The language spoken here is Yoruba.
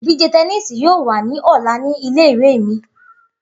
Idije tẹníìsì yoo wa ni ọla ni ìle-ìwe mi.